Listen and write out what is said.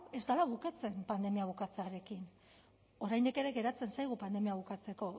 ez dela bukatzen pandemia bukatzearekin oraindik ere geratzen zaigu pandemia hau bukatzeko